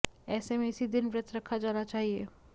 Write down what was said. ऐसे में इसी दिन व्रत रखा जाना चाहिए